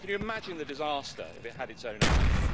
Can you imagine the disaster if it had its own army?